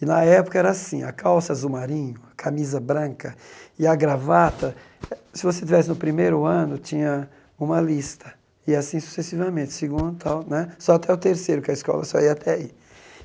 E, na época, era assim, a calça azul marinho, a camisa branca e a gravata, se você estivesse no primeiro ano, tinha uma lista, e assim sucessivamente, segundo tal né, só até o terceiro, que a escola só ia até aí.